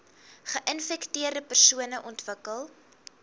geinfekteerde persone ontwikkel